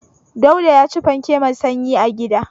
Dauda ya ci fanke mai sanyi a gida.